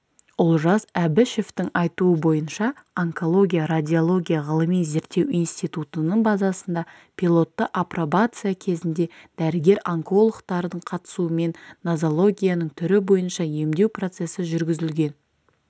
олжас әбішевтің айтуынша онкология радиология ғылыми-зерттеу институтының базасында пилотты апробация кезінде дәрігер-онкологтардың қатысуымен нозологияның түрі бойынша емдеу процесі жүргізілген